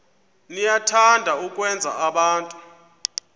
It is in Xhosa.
niyathanda ukwenza abantu